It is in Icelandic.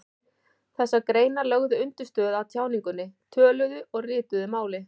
Þessar greinar lögðu undirstöðu að tjáningunni, töluðu og ritaðu máli.